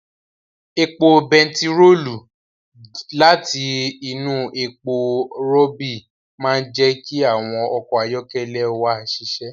Epo bentiroolu láti inú epo rọ̀bì máa ń jẹ́ kí àwọn ọkọ̀ ayọ́kẹ́lẹ́ wa ṣiṣẹ́